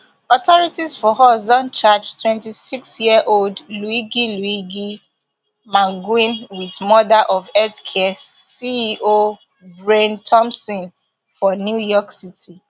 authorities for us don charge twenty-six year old luigi luigi mangione wit murder of healthcare ceo brian thompson for new york city